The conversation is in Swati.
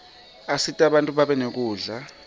asita bantfu babe nekudla